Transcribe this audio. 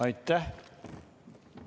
Aitäh!